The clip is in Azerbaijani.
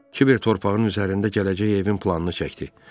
Kiber torpağın üzərində gələcək evin planını çəkdi.